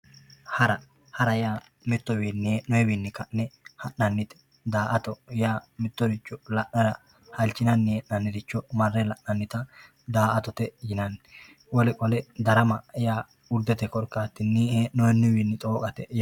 hara hara yaa mittuwiinni heenoyewiini ka'ne ha'nannite da"atto yaa mitoricho la'nara halchine ha'ne hee'nanniricho marre la'nanita daa"atote yinanni wole qole darama yaa hudete korkaatii he'noonniwiinni xooqate